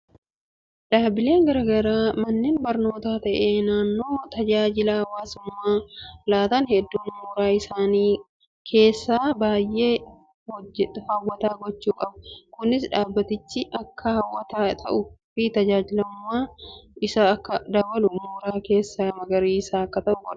Dhaabbileen garaagaraa manneen barnootaas ta'ee kaneen tajaajila hawaasummaa laatan hedduun mooraa isaanii keessa baay'ee hawwataa gochuu qabu. Kunis dhaabbatichi akka hawwataa ta'uu fi jaallatamummaan isaa akka dabalu mooraa keessi magariisa akka ta'u godha.